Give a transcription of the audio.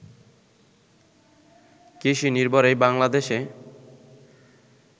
কৃষিনির্ভর এই বাংলাদেশে